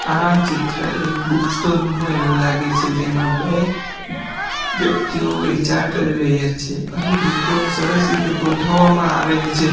આ ચિત્ર એક બુક સ્ટોર હોય એવું લાગે છે જેમાં બે વ્યક્તિઓ વેચાણ કરી રહ્યા છે અહીં બુકો ને સરસ રીતે ગોઠવવામાં આવેલ છે.